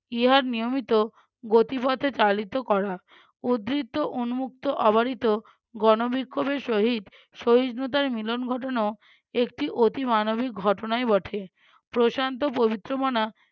ইহার নিয়মিত গতিপথে চালিত করা উদৃত্ত উম্মুক্ত অবারিত গণবিক্ষোভের সহিত সহিষ্ণুতার মিলন ঘটানো একটি অতি মানবিক ঘটনায় বটে প্রশান্ত পবিত্রমনা